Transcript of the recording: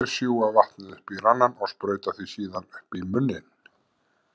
Þeir sjúga vatnið upp í ranann og sprauta því síðan upp í munninn.